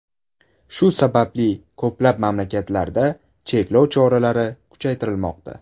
Shu sababli ko‘plab mamlakatlarda cheklov choralari kuchaytirilmoqda.